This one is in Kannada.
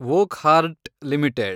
ವೊಕ್ಹಾರ್ಡ್ಟ್ ಲಿಮಿಟೆಡ್